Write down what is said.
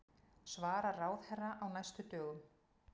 Svarar ráðherra á næstu dögum